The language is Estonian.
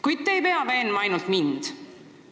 Kuid te ei pea veenma ainult mind.